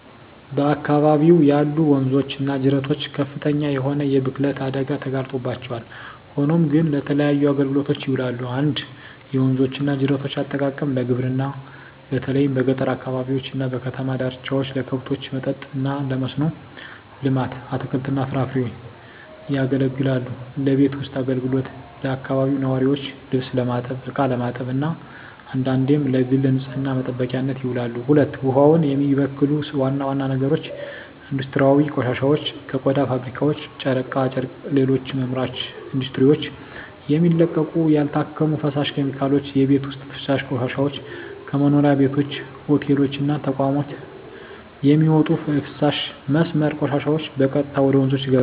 በአካባቢው ያሉ ወንዞች እና ጅረቶች ከፍተኛ የሆነ የብክለት አደጋ ተጋርጦባቸዋል፣ ሆኖም ግን ለተለያዩ አገልግሎቶች ይውላሉ። 1. የወንዞች እና ጅረቶች አጠቃቀም ለግብርና በተለይም በገጠር አካባቢዎች እና በከተማ ዳርቻዎች ለከብቶች መጠጥ እና ለመስኖ ልማት (አትክልትና ፍራፍሬ) ያገለግላሉለቤት ውስጥ አገልግሎት ለአካባቢው ነዋሪዎች ልብስ ለማጠብ፣ እቃ ለማጠብ እና አንዳንዴም ለግል ንፅህና መጠበቂያነት ይውላሉ። 2. ውሃውን የሚበክሉ ዋና ዋና ነገሮች ኢንዱስትሪያዊ ቆሻሻዎች ከቆዳ ፋብሪካዎች፣ ጨርቃ ጨርቅና ሌሎች አምራች ኢንዱስትሪዎች የሚለቀቁ ያልታከሙ ፈሳሽ ኬሚካሎች። የቤት ውስጥ ፍሳሽ ቆሻሻዎች ከመኖሪያ ቤቶች፣ ሆቴሎች እና ተቋማት የሚወጡ የፍሳሽ መስመር ቆሻሻዎች በቀጥታ ወደ ወንዞች ይገባሉ።